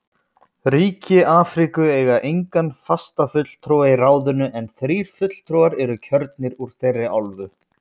Ríki Afríku eiga engan fastafulltrúa í ráðinu en þrír fulltrúar eru kjörnir úr þeirri álfu.